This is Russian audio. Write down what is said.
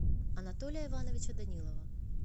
анатолия ивановича данилова